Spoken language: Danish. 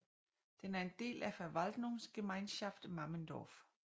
Den er en del af Verwaltungsgemeinschaft Mammendorf